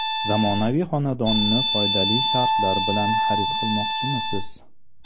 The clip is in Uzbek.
Zamonaviy xonadonni foydali shartlar bilan xarid qilmoqchimisiz?